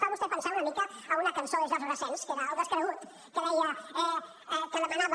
fa vostè pensar una mica en una cançó de georges brassens que era el descregut que deia que demanava